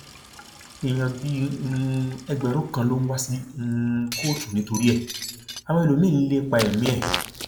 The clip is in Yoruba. èèyàn bíi um ẹgbẹrún kan ló ń wá sí um kóòtù nítorí ẹ àwọn ẹlòmíín ń lépa ẹmí ẹ